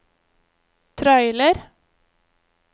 trailer